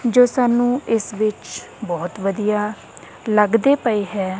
ਜੋ ਸਾਨੂੰ ਇਸ ਵਿੱਚ ਬਹੁਤ ਵਧੀਆ ਲੱਗਦੇ ਪਏ ਹੈ।